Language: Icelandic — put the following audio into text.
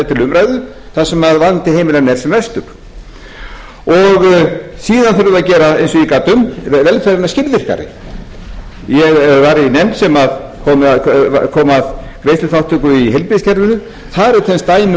til umræðu þar sem vandi heimilanna er sem mestur síðan þurfum við að gera eins og ég gat um velferðina skilvirkari ég var í nefnd sem kom að greiðsluþátttöku í heilbrigðiskerfinu þar eru til dæmis dæmi